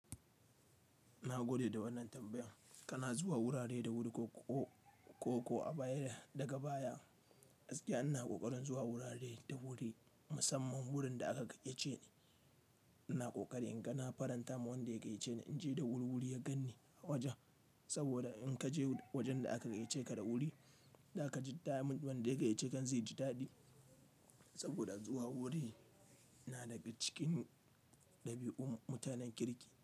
Nagode da wannan tambayan. Kana zuwa wurare da wuri ko, ko, ko a baya daga baya, gaskiya ina ƙoƙarin zuwa wurare da wuri, musamman wurin da aka gayyace ni. Ina ƙoƙari in ga na faranta wa wanda ya gayyace ni in je da wuri-wuri ya ganni a wajen. Saboda in ka je wajen da aka gayyace ka da wuri, da ka ji ta wanda ya gayyace ka zai ji daɗi. Saboda zuwa wuri na daga cikin ɗabi'u mutanen kirki.